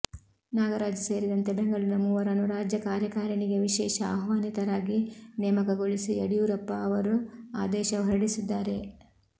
ನಾಗರಾಜ್ ಸೇರಿದಂತೆ ಬೆಂಗಳೂರಿನ ಮೂವರನ್ನು ರಾಜ್ಯ ಕಾರ್ಯಕಾರಿಣಿಗೆ ವಿಶೇಷ ಆಹ್ವಾನಿತರಾಗಿ ನೇಮಕಗೊಳಿಸಿ ಯಡಿಯೂರಪ್ಪ ಅವರು ಆದೇಶ ಹೊರಡಿಸಿದ್ದಾರೆ